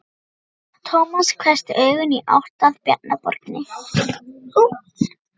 Tómas hvessti augun í átt að Bjarnaborginni.